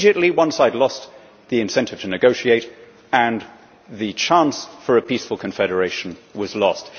Immediately one side lost the incentive to negotiate, and the chance for a peaceful confederation was lost.